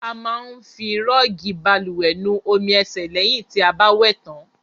A máa ń fi rọọgi bálùwẹ̀ nu omi ẹ̀sẹ̀ lẹ̀hìn ti a bá wẹ̀ tàn.